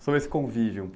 Sobre esse convívio